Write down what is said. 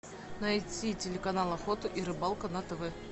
найти телеканал охота и рыбалка на тв